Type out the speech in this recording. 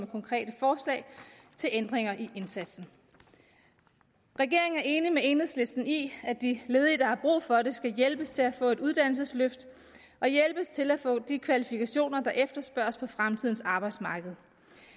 konkrete forslag til ændringer i indsatsen regeringen er enig med enhedslisten i at de ledige der har brug for det skal hjælpes til at få et uddannelsesløft og hjælpes til at få de kvalifikationer der efterspørges på fremtidens arbejdsmarked